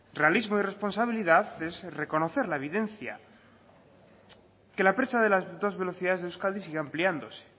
realismo y responsabilidad es reconocer la evidencia que la brecha de las dos velocidades de euskadi siga ampliándose